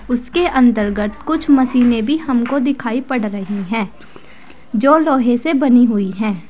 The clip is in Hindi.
उसके अंतर्गत कुछ मशीनें भी हमको दिखाई पड़ रही हैं जो लोहे से बनी हुई हैं।